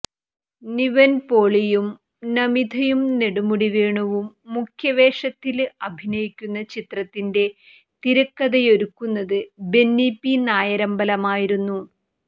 നിവന്പോളിയും നമിതയും നെടുമുടി വേണുവും മുഖ്യവേഷത്തില് അഭിനയിക്കുന്നചിത്രത്തിന്റെ തിരക്കഥയൊരുക്കുന്നത് ബെന്നി പി നായരമ്പലമായിരുന്നു